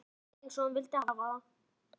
Nákvæmlega eins og hún vildi hafa það.